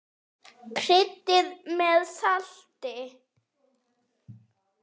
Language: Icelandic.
Kryddið með salti.